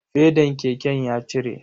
Fedan keken ya cire.